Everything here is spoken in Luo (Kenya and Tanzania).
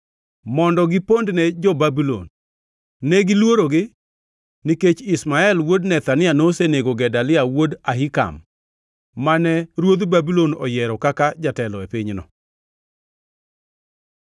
mondo gipondne jo-Babulon. Ne giluorogi nikech Ishmael wuod Nethania nosenego Gedalia wuod Ahikam, mane ruodh Babulon oyiero kaka jatelo e pinyno.